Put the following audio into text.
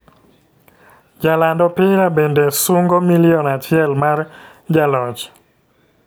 Jaland opira bende sungo milion achiel mar jaloch.